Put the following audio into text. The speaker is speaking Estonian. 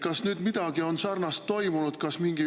Kas nüüd on midagi sarnast toimunud?